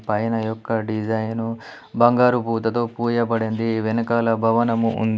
పైన యొక్క డిజైను బంగారు పూతతో పూయబడింది. వెనకాల భవనము ఉంది.